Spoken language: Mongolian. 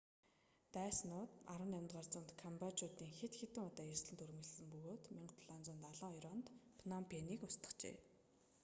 дайсчууд 18-р зуунд камбожийг хэд хэдэн удаа эзлэн түрэмгийлсэн бөгөөд 1772 онд тэд пном пэнийг устгажээ